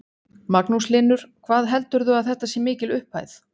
Magnús Hlynur: Hvað heldurðu að þetta sé mikil upphæð?